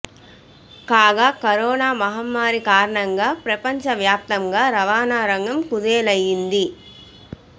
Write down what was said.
కాగా కరోనా మహమ్మారి కారణంగా ప్రపంచ వ్యాప్తంగా రవాణా రంగం కుదేలైంది